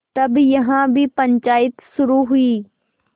तब यहाँ भी पंचायत शुरू हुई